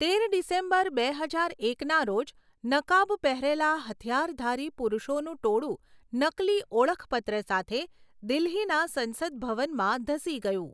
તેર ડિસેમ્બર, બે હજાર એકના રોજ, નકાબ પહેરેલા હથિયારધારી પુરુષોનું ટોળું નકલી ઓળખપત્ર સાથે દિલ્હીના સંસદ ભવનમાં ધસી ગયું.